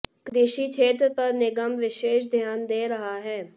कृषि क्षेत्र पर निगम विशेष ध्यान दे रहा है